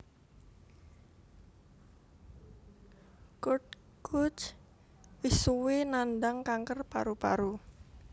Kurt Kuch wis suwé nandhang kanker paru paru